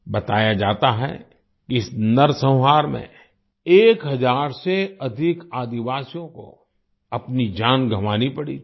बताया जाता है कि इस नरसंहार में एक हजार से अधिक आदिवासियों को अपनी जान गंवानी पड़ी थी